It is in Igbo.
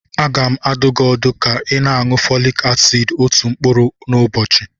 Aga m adụ gị ọdụ ka ị na-aṅụ Folik asid otu mkpụrụ n'ụbọchị.